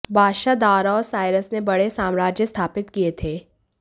बादशाह दारा और साइरस ने बड़े साम्राज्य स्थापित किए थे